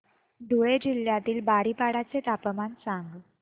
धुळे जिल्ह्यातील बारीपाडा चे तापमान सांग